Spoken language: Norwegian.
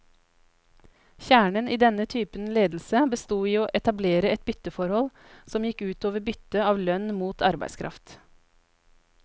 Kjernen i denne typen ledelse bestod i å etablere et bytteforhold, som gikk ut over byttet av lønn mot arbeidskraft.